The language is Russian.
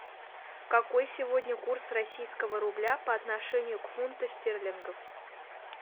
какой сегодня курс российского рубля по отношению к фунту стерлингов